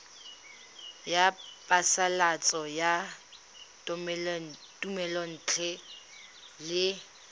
ya phasalatso ya thomelontle le